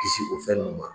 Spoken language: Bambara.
Kisi o fɛn nunnu ma